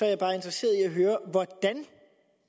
jeg bare interesseret